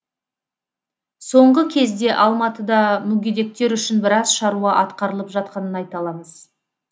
соңғы кезде алматыда мүгедектер үшін біраз шаруа атқарылып жатқанын айта аламыз